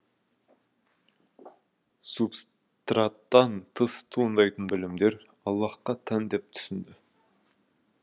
субстраттан тыс туындайтын білімдер аллаһқа тән деп түсінді